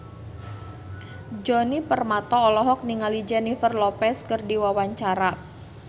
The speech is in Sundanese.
Djoni Permato olohok ningali Jennifer Lopez keur diwawancara